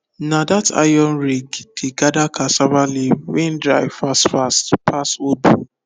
na that iron rake dey gather cassava leave wey dry fast fast pass old